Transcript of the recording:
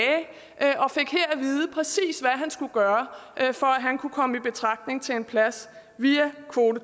vide præcis hvad han skulle gøre for at han kunne komme i betragtning til en plads via kvote